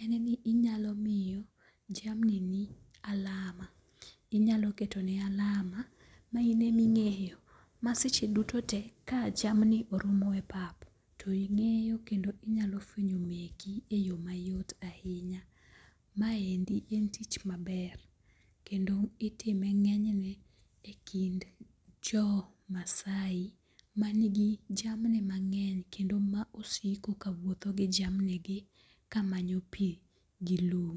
en ni inyalo miyo jamnini alama, inyalo ketone alama ma ine minge'yo maseche dutote ka jamni oromoe pap to ingeyo kendo inyalo fuenyo meki e yo mayot ahinya, maendi en tich maber kendo itime nge'nyne e kind jo masai manigi jamni mange'ny kendo ma osiko ka wuotho gi jamnigi kamanyo pi gi lum.